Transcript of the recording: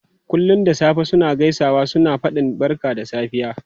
Kullum da safe suna gaisawa suna fadin barka da safiya.